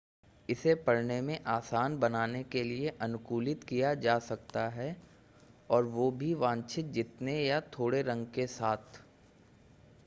इसे पढ़ने में आसान बनाने के लिए अनुकूलित किया जा सकता है और वो भी वांछित जितने या थोड़े रंग के साथ